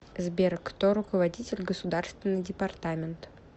сбер кто руководитель государственный департамент